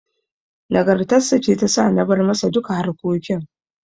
Nagartar sa ce ta sa na bar masa duka harkokin.